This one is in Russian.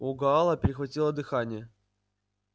у гаала перехватило дыхание